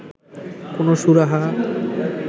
কোনো সুরাহা